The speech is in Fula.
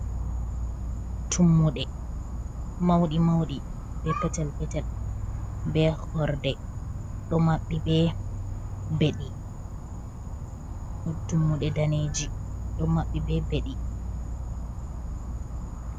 Tummuɗe, mauɗi mauɗi be petel petel be horde do maɓɓi be beɗɗi. tummuɗe daneji do maɓɓi be beddi.